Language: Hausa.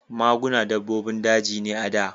Maguna dabbobin daji ne a da.